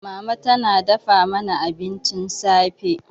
Mama tana dafa mana abincin safe.